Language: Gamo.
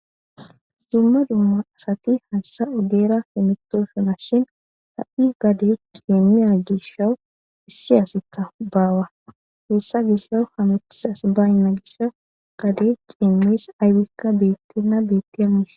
Dumma dumma asati hassa oddera hemetoofina shin ha'i gade qiemiya gishshawu issi asikka baawa heessa gishshawu hamethisas baynna gishau gade qiemees aywikka bettena bette amis.